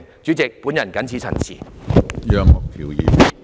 主席，我謹此陳辭。